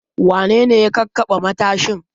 Wane ne ya kakkaɓe matashin?